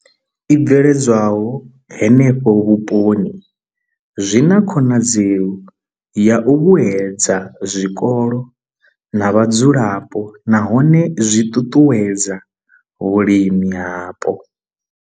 I bveledzwaho henefho vhuponi zwi na khonadzeo ya u vhuedza zwikolo na vhadzulapo nahone zwi ṱuṱuwedza vhulimi hapo.